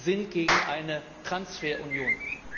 Wir sind gegen eine Transferunion.